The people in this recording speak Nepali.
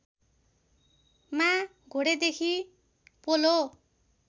मा घोडेदेखि पोलो